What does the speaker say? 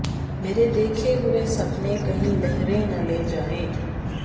مرے دیکھے ہوئے سپنے کہیں لہریں نہ لے جائیں